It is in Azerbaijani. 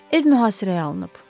Ev mühasirəyə alınıb.